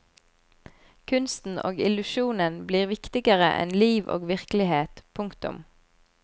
Kunsten og illusjonen blir viktigere enn liv og virkelighet. punktum